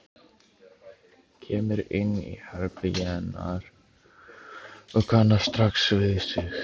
Kemur inn í herbergið hennar og kannast strax við sig.